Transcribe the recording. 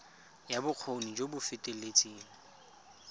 ya bokgoni jo bo feteletseng